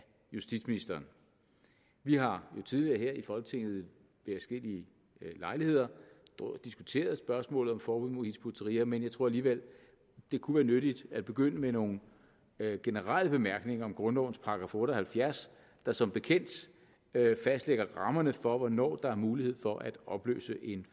justitsministeren vi har jo tidligere her i folketinget ved adskillige lejligheder diskuteret spørgsmålet om et forbud mod hizb ut tahrir men jeg tror alligevel at det kunne være nyttigt at begynde med nogle generelle bemærkninger om grundlovens § otte og halvfjerds der som bekendt fastlægger rammerne for hvornår der er mulighed for at opløse en